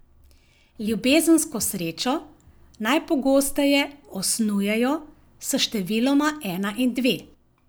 Ljubezensko srečo najpogosteje osnujejo s številoma ena in dve.